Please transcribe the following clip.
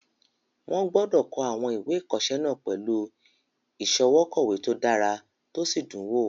Wọ́n gbọdọ̀ kọ àwọn ìwé ìkọsẹ́ náà pẹ̀lú ìsọwọ́kọ̀wé to dára tó sì dùn wò